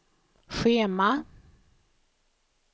schema